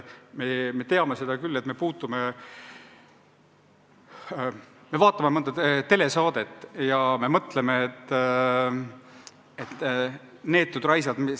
Me vaatame mõnda telesaadet ja me mõtleme: "Neetud raisad!